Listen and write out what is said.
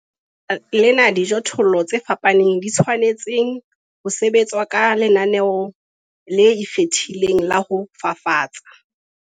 Ke ka baka lena dijothollo tse fapaneng di tshwanetseng ho sebetswa ka lenaneo le ikgethileng la ho fafatsa.